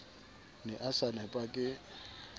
ne a sa nepa ke